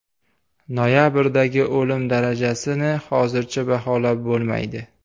Noyabrdagi o‘lim darajasini hozircha baholab bo‘lmaydi.